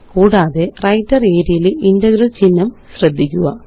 കൂടാതെWriter ആരിയ ലെ ഇന്റഗ്രല് ചിഹ്നം ശ്രദ്ധിക്കുക